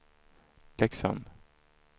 Leksand